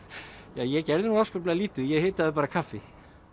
ja ég gerði nú afskaplega lítið ég hitaði bara kaffi